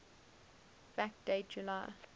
fact date july